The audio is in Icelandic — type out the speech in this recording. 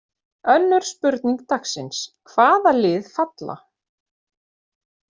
Önnur spurning dagsins: Hvaða lið falla?